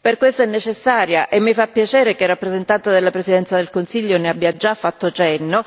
Per questo è necessaria e mi fa piacere che è rappresentato dalla Presidenza del Consiglio ne abbia già fatto cenno